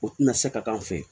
O tɛna se ka k'an fɛ yen